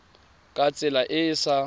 ka tsela e e sa